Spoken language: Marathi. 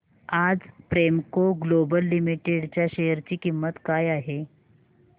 आज प्रेमको ग्लोबल लिमिटेड च्या शेअर ची किंमत काय आहे